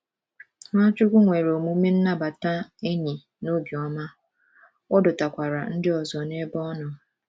Nwachukwu nwere omume nnabata enyi na obiọma, ọ dọtakwara ndị ọzọ n’ebe ọ nọ.